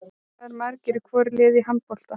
Hvað eru margir í hvoru liði í handbolta?